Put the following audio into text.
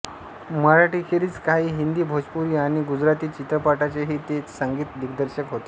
मराठीखेरीज काही हिंदी भोजपुरी आणि गुजराती चित्रपटांचेही ते संगीत दिग्दर्शक होते